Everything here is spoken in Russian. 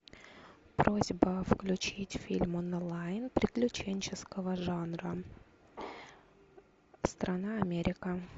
просьба включить фильм онлайн приключенческого жанра страна америка